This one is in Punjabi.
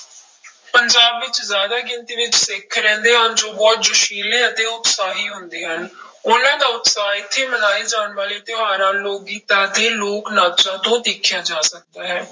ਪੰਜਾਬ ਵਿੱਚ ਜ਼ਿਆਦਾ ਗਿਣਤੀ ਵਿੱਚ ਸਿੱਖ ਰਹਿੰਦੇ ਹਨ ਜੋ ਬਹੁਤ ਜੋਸ਼ਿਲੇ ਅਤੇ ਉਤਸ਼ਾਹੀ ਹੁੰਦੇ ਹਨ, ਉਹਨਾਂ ਦਾ ਉਤਸ਼ਾਹ ਇੱਥੇ ਮਨਾਏ ਜਾਣ ਵਾਲੇ ਤਿਉਹਾਰਾਂ, ਲੋਕ ਗੀਤਾਂ ਅਤੇ ਲੋਕ ਨਾਚਾਂ ਤੋਂ ਦੇਖਿਆ ਜਾ ਸਕਦਾ ਹੈ।